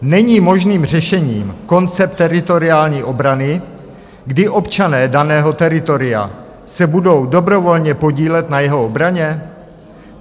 Není možným řešením koncept teritoriální obrany, kdy občané daného teritoria se budou dobrovolně podílet na jeho obraně?